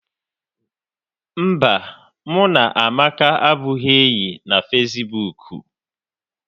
Mba, mụ na Amaka abụghị enyi na fesibuuku